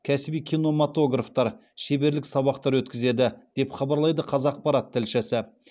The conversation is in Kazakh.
кәсіби киноматографтар шеберлік сабақтар өткізеді деп хабарлайды қазақпарат тілшісі